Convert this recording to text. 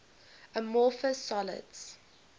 amorphous solids